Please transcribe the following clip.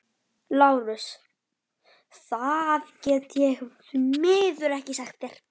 LÁRUS: Það get ég því miður ekki sagt þér.